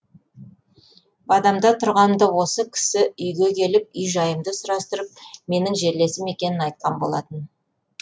бадамда тұрғанымда осы кісі үйге келіп үй жайымды сұрастырып менің жерлесім екенін айтқан болатын